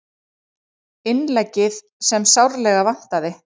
Innleggið sem sárlega vantaði